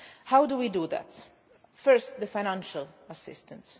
How do we do that? First, through financial assistance.